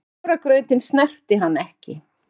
Hafragrautinn snerti hann ekki.